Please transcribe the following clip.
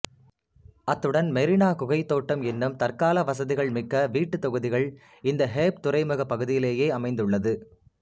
அத்துடன் மெரினா குகைத் தோட்டம் எனும் தற்கால வசதிகள் மிக்க வீட்டுத்தொகுதிகள் இந்த ஹேப் துறைமுகப் பகுதியிலேயே அமைந்துள்ளது